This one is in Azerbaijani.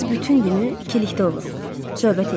Biz bütün günü ikilikdə oluruq, söhbət eləyirik.